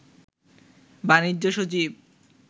বাণিজ্য সচিব